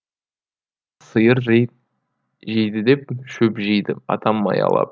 сийыр жейді деп шөп жиды атам маялап